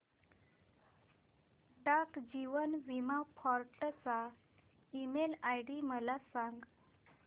डाक जीवन बीमा फोर्ट चा ईमेल आयडी मला सांग